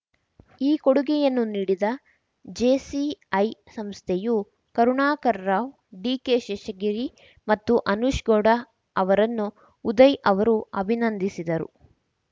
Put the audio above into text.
ಈ ಕೊಡುಗೆಯನ್ನು ನೀಡಿದ ಜೆಸಿಐ ಸಂಸ್ಥೆಯು ಕರುಣಾಕರ್‌ರಾವ್‌ ಡಿಕೆಶೇಷಗಿರಿ ಮತ್ತು ಅನೂಷ್ ಗೌಡ ಅವರನ್ನು ಉದಯ್‌ ಅವರು ಅಭಿನಂದಿಸಿದರು